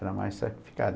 Era mais sacrificado